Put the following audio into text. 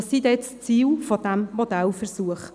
Welches sind die Ziele dieses Modellversuchs?